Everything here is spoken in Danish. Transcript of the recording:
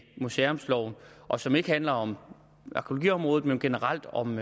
museumsloven og som ikke handler om arkæologiområdet men generelt om